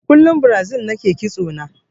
Da kullun Brazil nake ƙitso na